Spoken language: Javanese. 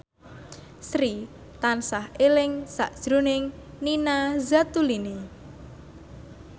Sri tansah eling sakjroning Nina Zatulini